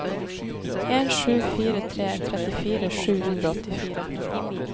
en sju fire tre trettifire sju hundre og åttifire